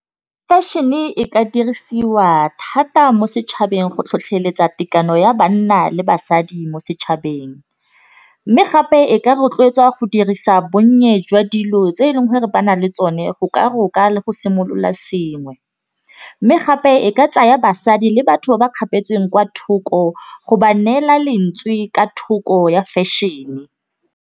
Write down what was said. Fashion-e ka dirisiwa thata mo setšhabeng go tlhotlheletsa tekano ya banna le basadi mo setšhabeng, mme gape e ka rotloetswa go dirisa bonnye jwa dilo tse nngwe re ba na le tsone go ka go ka le go simolola sengwe. Mme gape e ka tsaya basadi le batho ba ba kgapetsweng kwa thoko go ba neela lentswe ka thoko ya fashion.